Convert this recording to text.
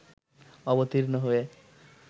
অবতীর্ণ হয়ে